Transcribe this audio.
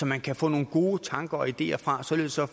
man kan få nogle gode tanker og ideer fra således at